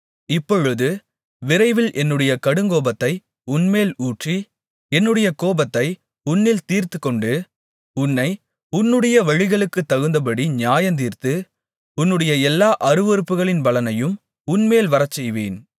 இப்பொழுது விரைவில் என்னுடைய கடுங்கோபத்தை உன்மேல் ஊற்றி என்னுடைய கோபத்தை உன்னில் தீர்த்துக்கொண்டு உன்னை உன்னுடைய வழிகளுக்குத்தகுந்தபடி நியாயந்தீர்த்து உன்னுடைய எல்லா அருவருப்புகளின் பலனையும் உன்மேல் வரச்செய்வேன்